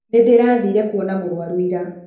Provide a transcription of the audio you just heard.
Nĩ ndĩraathire kuona mũrwaru ira.